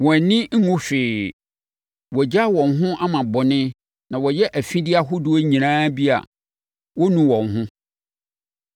Wɔn ani nwu hwee. Wɔagyaa wɔn ho ama bɔne na wɔyɛ afideɛ ahodoɔ nyinaa bi a wɔnnu wɔn ho.